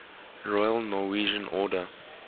royal norwegian order